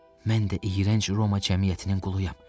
Mən də iyrənc Roma cəmiyyətinin quluyam.